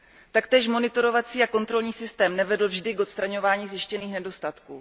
Taktéž monitorovací a kontrolní systém nevedl vždy k odstraňování zjištěných nedostatků.